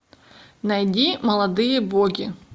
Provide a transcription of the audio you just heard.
найди молодые боги